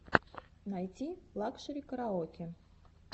найти лакшери караоке